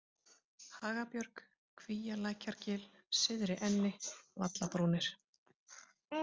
Hagabjörg, Kvíalækjargil, Syðri-Enni, Vallabrúnir